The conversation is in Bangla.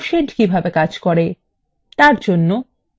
এখন দেখা যাক quotient কিভাবে কাজ করে দেখা যাক